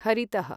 हरितः